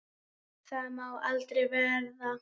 Það má aldrei verða.